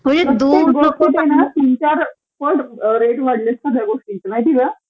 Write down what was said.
तीन चार पट रेट वाढलेत सगळ्या गोष्टींचे माहितेका